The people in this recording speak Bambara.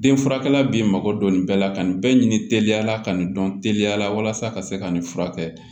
Den furakɛla b'i mago don nin bɛɛ la ka nin bɛɛ ɲini teliyala ka nin dɔn teliya la walasa ka se ka nin furakɛ